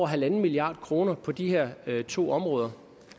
halv milliard kroner på de her to områder